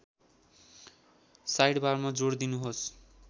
साइडबारमा जोड दिनुहोस्